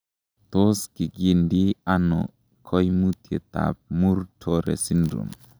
Tos kigindie ono koimutietab Muir Torre syndrome ?